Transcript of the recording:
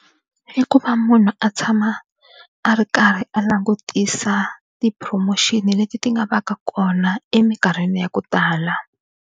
I ku va munhu a tshama a ri karhi a langutisa ti-promotion leti ti nga va ka kona emikarhini ya ku tala.